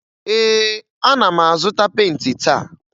Ee, ana m azụta penti taa.